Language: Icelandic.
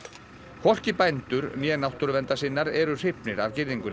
hvorki bændur né náttúruverndarsinnar eru hrifnir af girðingunni